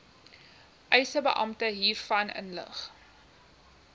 eisebeampte hiervan inlig